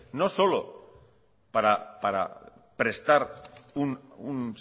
no solo para prestar un